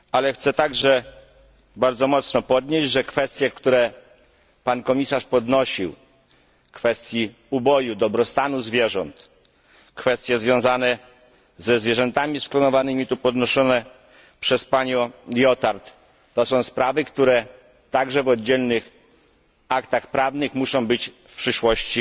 Chcę także bardzo mocno podkreślić, że kwestie, które pan komisarz podnosił kwestię uboju, dobrostanu zwierząt, kwestie związane ze zwierzętami sklonowanymi podnoszone tu przez panią Liotard to są sprawy, które także w oddzielnych aktach prawnych muszą być w przyszłości